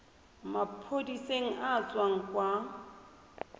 maphodiseng a a tswang kwa